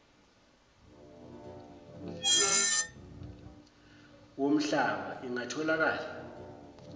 woml llaba ingatholakali